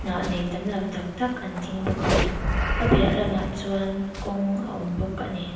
hnah nei tam lo tak tak an ding bawk a a piah lamah chuan kawng a awm bawk a ni.